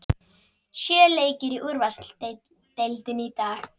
Sjö leikir í úrvalsdeildinni í dag